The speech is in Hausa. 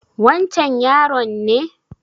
Wancan yaron ne